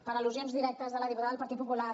per al·lusions directes de la diputada del partit popular